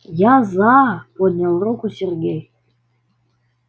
я за поднял руку сергей